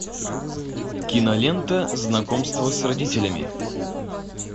кинолента знакомство с родителями